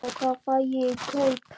Hérna. hvað fæ ég í kaup?